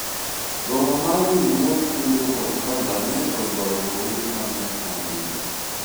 romo mar riwruog kungo kod hola ne oywayo rowere mang'eny ahinya